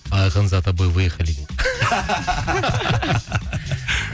айқын за то вы выехали дейді